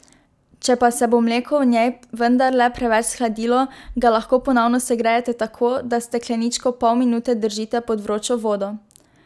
Če pa se bo mleko v njej vendarle preveč shladilo, ga lahko ponovno segrejete tako, da stekleničko pol minute držite pod vročo vodo.